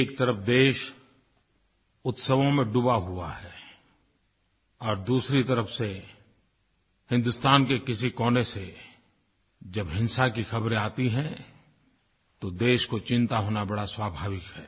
एक तरफ देश उत्सवों में डूबा हुआ है और दूसरी तरफ से हिन्दुस्तान के किसी कोने से जब हिंसा की खबरें आती हैं तो देश को चिंता होना स्वाभाविक है